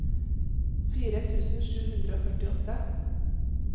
fire tusen sju hundre og førtiåtte